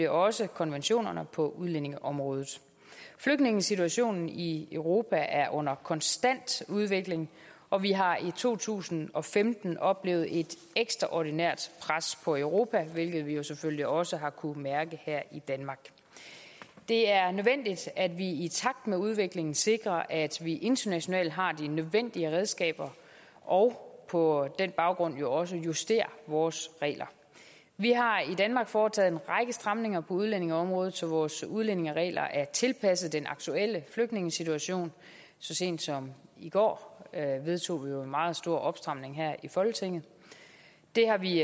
også konventionerne på udlændingeområdet flygtningesituationen i europa er under konstant udvikling og vi har i to tusind og femten oplevet et ekstraordinært pres på europa hvilket vi jo selvfølgelig også har kunnet mærke her i danmark det er nødvendigt at vi i takt med udviklingen sikrer at vi internationalt har de nødvendige redskaber og på den baggrund jo også justerer vores regler vi har i danmark foretaget en række stramninger på udlændingeområdet så vores udlændingeregler er tilpasset den aktuelle flygtningesituation så sent som i går vedtog vi jo en meget stor opstramning her i folketinget det har vi